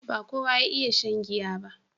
ba kowa ya iya shan giya ba